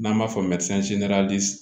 N'an b'a fɔ ma